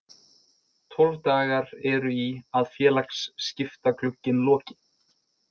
Tólf dagar eru í að félagaskiptaglugginn loki.